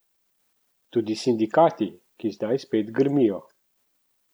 Tudi sindikati, ki zdaj spet grmijo.